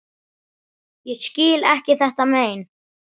Ég skil ekki þetta mein.